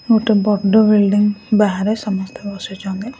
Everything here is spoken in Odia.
ଗୋଟେ ବଡ ବିଲିଡିଙ୍ଗ ବାହାରେ ସମସ୍ତେ ବସିଛନ୍ତି ।